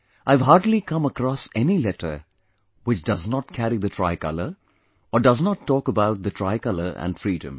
I have hardly come across any letter which does not carry the tricolor, or does not talk about the tricolor and Freedom